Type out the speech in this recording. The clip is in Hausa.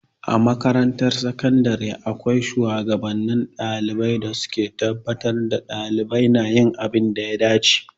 A makarantar sakandare akwai shuwagabanni ɗalibai, su ke tabbatar da ɗalibai na yin abin da ya dace.